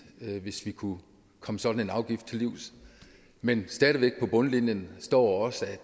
hvis vi kunne komme sådan en afgift til livs men på bundlinjen står